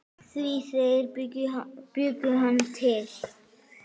Því þeir bjuggu hann til.